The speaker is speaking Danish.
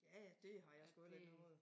Ja ja det har jeg sgu heller ikke noget